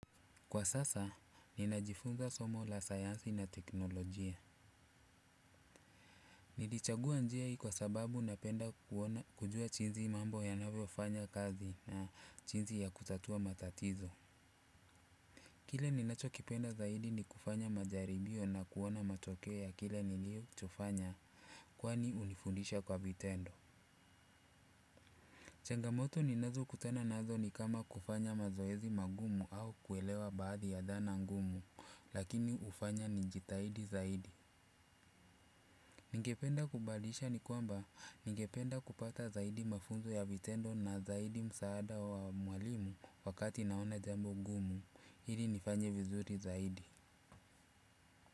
Kwa sasa, ninajifunza somo la sayansi na teknolojia. Nilichagua njia hii kwa sababu napenda kujua jinsi mambo yanavyofanya kazi na jinsi ya kutatua matatizo. Kile ninachokipenda zaidi ni kufanya majaribio na kuona matokeo ya kile nilichofanya kwani hunifundisha kwa vitendo. Changamoto ninazokutana nazo ni kama kufanya mazoezi magumu au kuelewa baadhi ya dhana ngumu lakini hufanya nijitahidi zaidi. Ningependa kubalisha ni kwamba ningependa kupata zaidi mafunzo ya vitendo na zaidi msaada wa mwalimu wakati naona jambo ngumu. Ili nifanye vizuri zaidi.